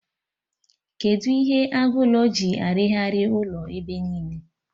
Kedụ ihe agụ ụlọ ji arighari ụlọ ebe niile?